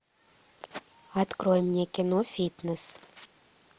открой мне кино фитнес